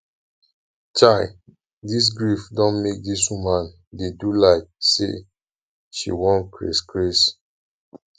chai dis grief don make dis woman dey do like sey she wan craze craze